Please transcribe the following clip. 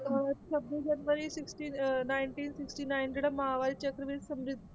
ਅਹ ਛੱਬੀ ਜਨਵਰੀ sixty ਅਹ ninety sixty nine ਜਿਹੜਾ ਮਹਾਂਵੀਰ ਚੱਕਰ ਵੀ